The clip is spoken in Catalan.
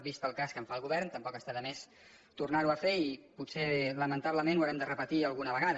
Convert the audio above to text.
vist el cas que en fa el govern tampoc està de més tornar·ho a fer i potser la·mentablement ho haurem de repetir alguna vegada